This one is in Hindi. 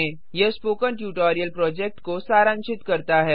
यह स्पोकन ट्यटोरियल प्रोजेक्ट को सारांशित करता है